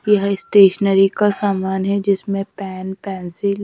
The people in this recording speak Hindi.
यह स्टेशनरी का समान है जिसमें पेन पेंसिल --